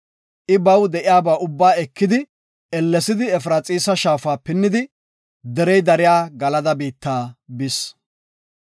I baw de7iyaba ubba ekidi ellesidi Efraxiisa shaafa pinnidi, derey dariya Galada biitta bis.